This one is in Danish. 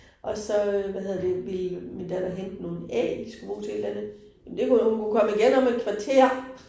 Og så øh hvad hedder det ville min datter hente nogle æg de skulle bruge til et eller andet, men det kunne hun jo hun kunne komme igen om et kvarter